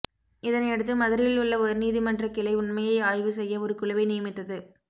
இதனையடுத்து மதுரையில் உள்ள உயர்நீதிமன்ற கிளை உண்மையை ஆய்வு செய்ய ஒரு குழுவை நியமித்தது